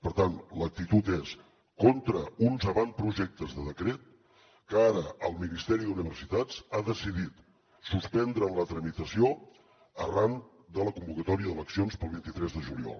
per tant l’actitud és contra uns avantprojectes de decret que ara el ministeri d’universitats ha decidit suspendre en la tramitació arran de la convocatòria d’eleccions per al vint tres de juliol